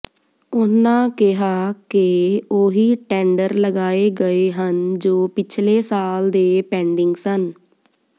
ਉਨ੍ਹਾਂ ਕਿਹਾ ਕਿ ਉਹੀ ਟੈਂਡਰ ਲਗਾਏ ਗਏ ਹਨ ਜੋ ਪਿਛਲੇ ਸਾਲ ਦੇ ਪੈਂਡਿੰਗ ਸਨ